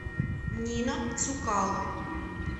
нина цукало